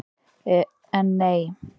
En, nei!